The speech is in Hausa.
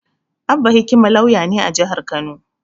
Abba Hikima lauya ne a jihar Kano.